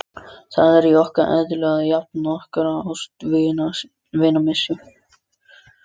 Ljóðahátturinn fellur einkar vel að efni kvæðisins.